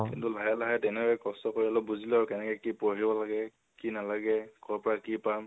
কিন্তু লাহে লাহে তেনেকে কষ্ট কৰি অলপ বুজিলো আৰু কেনেকে কি পঢ়িব লাগে, কি নালাগে, কৰ পৰা কি পাম